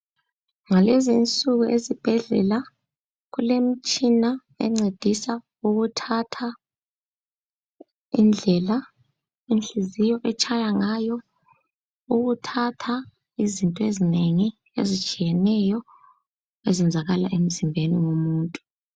Ngalezinsuku ezibhedlela kulemitshina encedisa ukuthatha indlela inhliziyo etshaya ngayo, ukuthatha izinto ezinengi, ezitshiyeneyo ezenzakala emzimbeni womuntu.